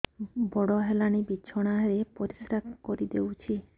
ବଡ଼ ହେଲାଣି ବିଛଣା ରେ ପରିସ୍ରା କରିଦେଉଛି